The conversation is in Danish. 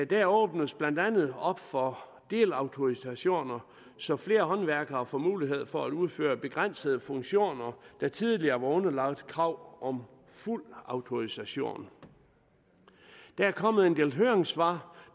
der åbnes blandt andet op for delautorisationer så flere håndværkere får mulighed for at udføre begrænsede funktioner der tidligere var underlagt krav om fuld autorisation der er kommet en del høringssvar